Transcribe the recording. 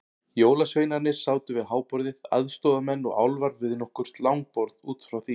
Jólasveinarnir sátu við háborðið, aðstoðarmenn og álfar við nokkur langborð út frá því.